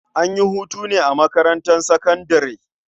An yi hutu ne a makarntar sakandare?